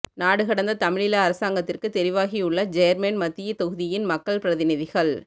நாடுகடந்த தமிழீழ அரசாங்கத்திற்கு தெரிவாகியுள்ள ஜேர்மன் மத்திய தொகுதியின் மக்கள் பிரதிநிதிகள்